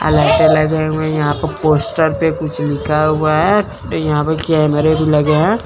अ लाइटे लगे हुए हैं यहां पे पोस्टर पे कुछ लिखा हुआ है यहां पे कैमरे भी लगे--